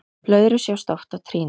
blöðrur sjást oft á trýni